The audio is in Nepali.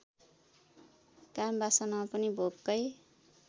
कामवासना पनि भोककै